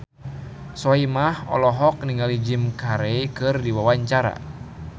Soimah olohok ningali Jim Carey keur diwawancara